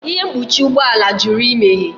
Ihe mkpuchi ụgbọ ala jụrụ imeghe